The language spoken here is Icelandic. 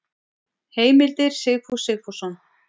Heimildir Sigfús Sigfússon.